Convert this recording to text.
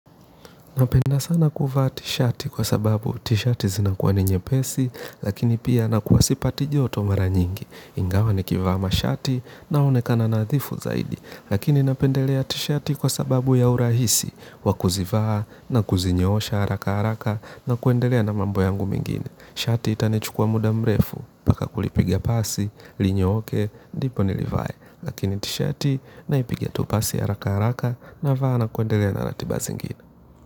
Napenda sana kuvaa tisheti kwasababu tisheti zinakuwa ni nyepesi, lakini pia nakuwa sipati joto mara nyingi. Ingawa nikivaa mashati naonekana nadhifu zaidi, lakini napendelea tisheti kwasababu ya urahisi wa kuzivaa na kuzinyoosha haraka haraka na kuendelea na mambo yangu mengine. Shati itanichukua muda mrefu, mpaka kulipigia pasi linyooke, ndipo nilivae, lakini tisheti naipigia tu pasi haraka haraka navaa na kuendelea na ratiba zingine.